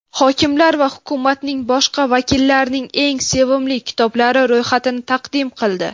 hokimlar va hukumatning boshqa vakillarining eng sevimli kitoblari ro‘yxatini taqdim qildi.